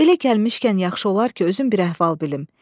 Elə gəlmişkən yaxşı olar ki, özüm bir əhval bilim.